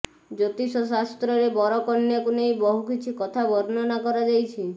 ଜ୍ୟୋତିଷ ଶାସ୍ତ୍ରରେ ବର କନ୍ୟାକୁ ନେଇ ବହୁ କିଛି କଥା ବର୍ଣ୍ଣନା କରାଯାଇଛି